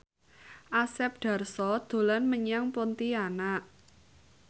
Asep Darso dolan menyang Pontianak